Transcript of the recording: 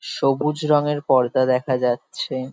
সবুজ রঙের পর্দা দেখা যাচ্ছে।